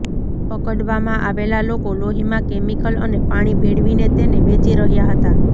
પકડવામાં આવેલા લોકો લોહીમાં કેમિકલ અને પાણી ભેળવીને તેને વેચી રહ્યા હતા